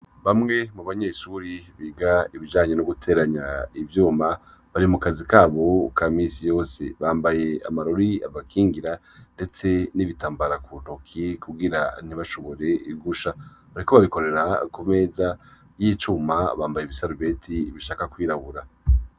Bamwe mu banyeshure biga ibijanye n'uguteranya ivyuma , bari mu kazi k'abo ka misi yose, bambaye amarori abakingira ndetse n'ibitambara mu ntoki, kugira ntibashore gusha. Bariko bakorera ku meza y'icuma bambaye ibisaruti bishaka kwirabura.